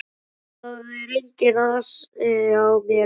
Það er enginn asi á mér lengur.